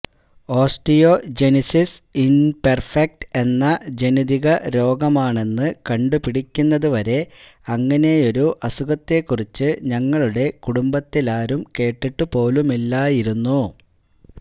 osteogenesis imperfecta എന്ന ജനിതക രോഗമാണെന്ന് കണ്ടുപിടിക്കുന്നതു വരെ ഇങ്ങനെയൊരു അസുഖത്തെക്കുറിച്ച് ഞങ്ങളുടെ കുടുംബത്തിലാരും കേട്ടിട്ടുപോലുമില്ലായിരുന്നു